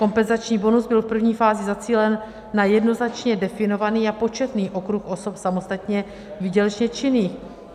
Kompenzační bonus byl v první fázi zacílen na jednoznačně definovaný a početný okruh osob samostatně výdělečně činných.